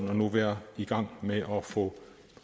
vi nu er i gang med at få